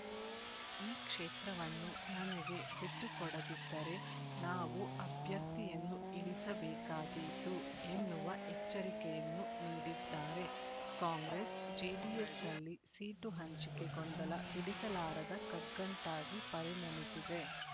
ಈ ಕ್ಷೇತ್ರವನ್ನು ನನಗೆ ಬಿಟ್ಟುಕೊಡದಿದ್ದರೆ ನಾವು ಅಭ್ಯರ್ಥಿಯನ್ನು ಇಳಿಸಬೇಕಾದೀತು ಎನ್ನುವ ಎಚ್ಚರಿಕೆಯನ್ನು ನೀಡಿದ್ದಾರೆ ಕಾಂಗ್ರೆಸ್ ಜೆಡಿಎಸ್‌ನಲ್ಲಿ ಸೀಟು ಹಂಚಿಕೆ ಗೊಂದಲ ಬಿಡಿಸಲಾರದ ಕಗ್ಗಂಟಾಗಿ ಪರಿಣಮಿಸಿದೆ